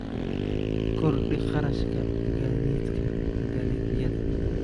Kordhi kharashka gaadiidka dalagyada.